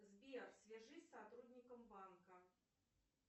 сбер свяжись с сотрудником банка